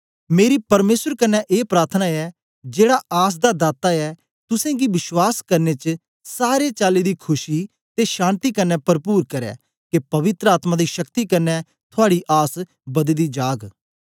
मेरी परमेसर कन्ने ए प्राथना ऐ जेड़ा आस दा दाता ऐ तुसेंगी विश्वास करने च सारे चाली दी खुशी ते शान्ति कन्ने परपुर करै के पवित्र आत्मा दी शक्ति कन्ने थुआड़ी आस बददी जाग